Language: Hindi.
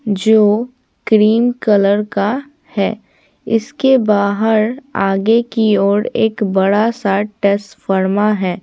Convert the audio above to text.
जो क्रीम कलर का है इसके बाहर आगे की ओर एक बड़ा सा टेस्ट फर्मा है।